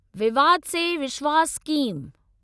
विवाद से विश्वास स्कीम